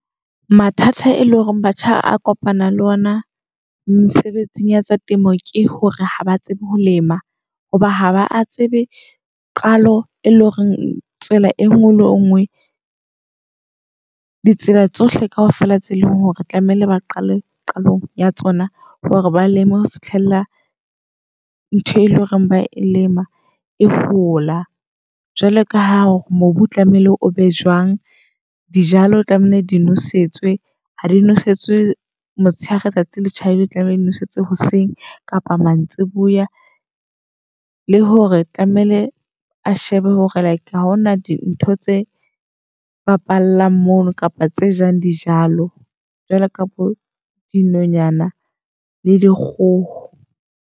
Mathata e leng hore batjha a kopana le ona mesebetsing ya tsa temo, ke hore ha ba tsebe ho lema. Hoba ha ba tsebe qalo e leng horeng tsela e ngwe le ngwe. Ditsela tsohle kaofela tse leng hore tlamehile ba qalong qalong ya tsona hore ba leeme ho fihlella ntho e loreng ba e lema, e hola. Jwalo ka ha hore mobu o tlamehile o be jwang, dijalo o tlamehile di nosetswe ha di nosetswe motshehare tsatsi le tjhabile. Le tlamehile o nosetswe hoseng, kapa mantsiboya le hore tlamehile a shebe hore like ha hona di ntho tse bapalang mono. Kapa tse jang dijalo jwalo ka bo dinonyana le dikgoho.